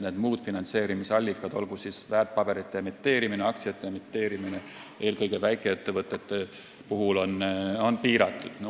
Muud finantseerimisallikad – olgu siis väärtpaberite või aktsiate emiteerimine, eelkõige väikeettevõtete puhul – on piiratud.